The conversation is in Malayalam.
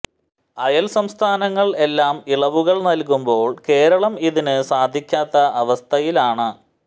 അയൽ സംസ്ഥാനങ്ങൾ എല്ലാം ഇളവുകൾ നൽകുമ്പോൾ കേരളം ഇതിന് സാധിക്കാത്ത അവസ്ഥയിലാണ്